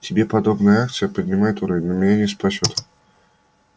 тебе подобная акция поднимет уровень но меня не спасёт